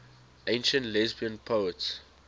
ancient lesbian poets